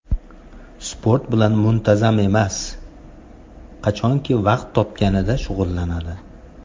Sport bilan muntazam emas, qachonki vaqti topganida shug‘ullanadi.